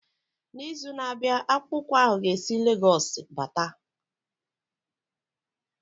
N'izu na-abịa akpụkpọ ụkwụ ahu ga esi Lagosu bata.